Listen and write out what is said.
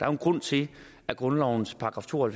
er en grund til at grundlovens § to og